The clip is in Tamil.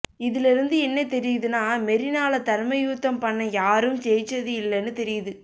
இதுல இருந்து என்ன தெரியுதுன்னா மெரினால தர்மயுத்தம் பண்ண யாரும் ஜெய்ச்சது இல்லன்னு தெரியுது